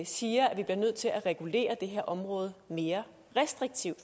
siger at vi bliver nødt til at regulere det her område mere restriktivt